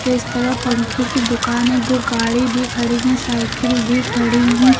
इस तरफ पंखे की दुकान है दो गाड़ी भी खड़ी है साइकिल भी खड़ी है।